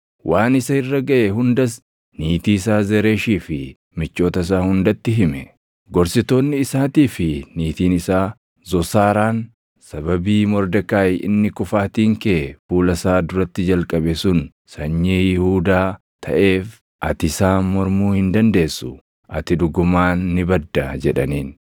waan isa irra gaʼe hundas niitii isaa Zeresh fi michoota isaa hundatti hime. Gorsitoonni isaatii fi niitiin isaa Zosaaraan, “Sababii Mordekaayi inni kufaatiin kee fuula isaa duratti jalqabe sun sanyii Yihuudaa taʼeef ati isaan mormuu hin dandeessu; ati dhugumaan ni badda!” jedhaniin.